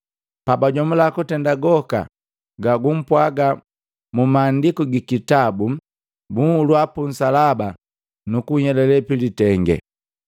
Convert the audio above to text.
Pabajomula kutenda goka gagumpwaga mu maandiku gikitabu, bunhulua punsalaba nukunhyelale pilitenge.